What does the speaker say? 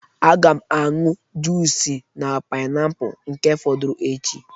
a ga m aṅụ junice pineapple nke fọdụrụ echi